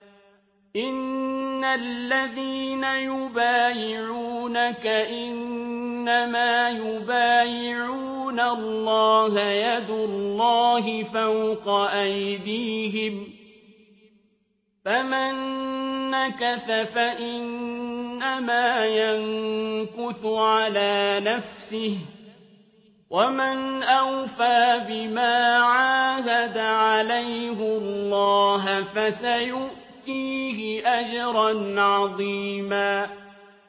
إِنَّ الَّذِينَ يُبَايِعُونَكَ إِنَّمَا يُبَايِعُونَ اللَّهَ يَدُ اللَّهِ فَوْقَ أَيْدِيهِمْ ۚ فَمَن نَّكَثَ فَإِنَّمَا يَنكُثُ عَلَىٰ نَفْسِهِ ۖ وَمَنْ أَوْفَىٰ بِمَا عَاهَدَ عَلَيْهُ اللَّهَ فَسَيُؤْتِيهِ أَجْرًا عَظِيمًا